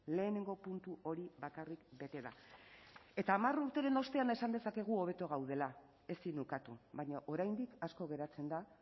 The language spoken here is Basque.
lehenengo puntu hori bakarrik bete da eta hamar urteren ostean esan dezakegu hobeto gaudela ezin ukatu baina oraindik asko geratzen da